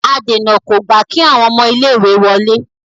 adèna kò gba kí àwọn ọmọ ilé ìwé wọlé.